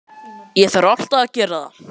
Ég þarf alltaf að gera það.